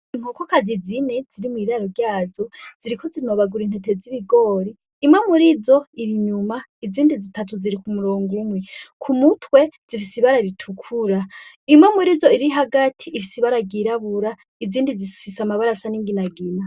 Inkokokazi zine ziri mw'iraro ryazo ziriko zinobagura intete z'ibigori. Imwe murizo iri inyuma izindi zitatu ziri ku murongo umwe, ku mutwe zifise ibara ritukura. Imwe murizo, iri hagati ifise ibara ryirabura izindi zifise amabara asa n'inginagina.